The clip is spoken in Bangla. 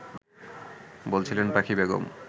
বলছিলেন পাখি বেগম